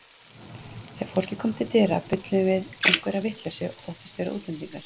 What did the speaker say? Þegar fólkið kom til dyra bulluðum við einhverja vitleysu og þóttumst vera útlendingar.